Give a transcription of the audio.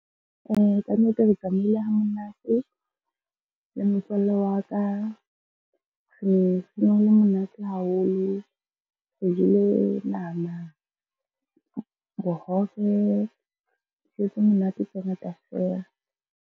Kannete re tsamaile ha monate le motswallle wa ka, ne ho le monate haholo. Re jele nama, bohobe dijo tse monate tse ngata feela.